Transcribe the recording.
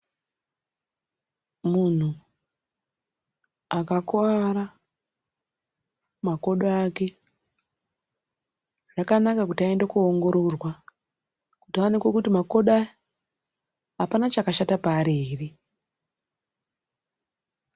Muntu akakuwara makodo ake zvakanaka kuti aende koongororwa kuti aonekwe makodo ake apana chakakosha here.